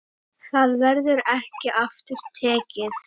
Það verður ekki aftur tekið.